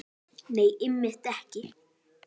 Nei, einmitt ekki.